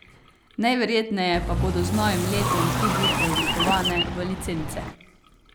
Najverjetneje pa bodo z novim letom tudi preoblikovane v licence.